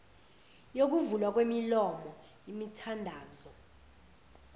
yokuvulwa kwemilomo imithandazo